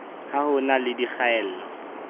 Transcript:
ha ho na le dikgaello